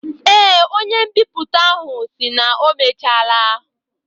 Ee, onye mbipụta ahụ sịrị na ọ mechaala